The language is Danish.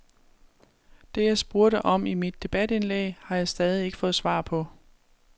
Det, jeg spurgte om i mit debatindlæg, har jeg stadig ikke fået svar på.